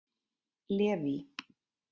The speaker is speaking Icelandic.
Leví